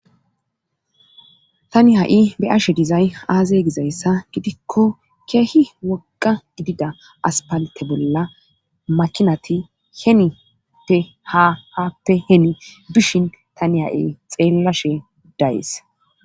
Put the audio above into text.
Tani ha'i beashe dizay aazey gizayssa gidikko keehi woqa gidida aspalte bolla makinati henite hahatte heni bishin tani ha'i xeellashe dayees